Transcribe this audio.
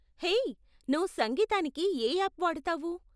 Hey, నువ్వు సంగీతానికి ఏ యాప్ వాడతావు?